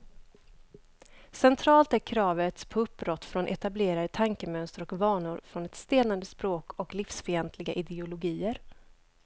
Centralt är kravet på uppbrott från etablerade tankemönster och vanor, från ett stelnande språk och livsfientliga ideologier.